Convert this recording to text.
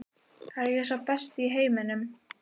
Er ég sá besti í heiminum?